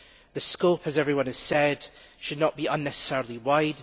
The scope as everyone has said should not be unnecessarily wide.